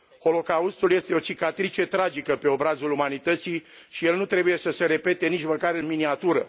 Holocaustul este o cicatrice tragică pe obrazul umanității și el nu trebuie să se repete nici măcar în miniatură.